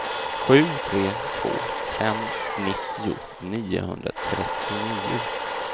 sju tre två fem nittio niohundratrettionio